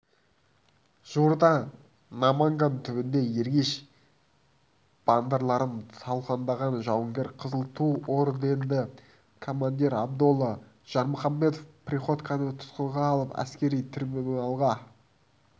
жуырда наманган түбінде ергеш бандыларын талқандаған жауынгер қызыл ту орденді командир абдолла жармұхамбетов приходьконы тұтқынға алып әскери трибуналға